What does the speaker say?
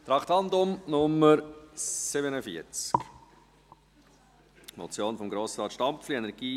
Traktandum Nr. 47, die Motion von Grossrat Stampfli «